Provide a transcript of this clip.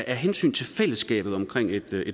af hensyn til fællesskabet omkring et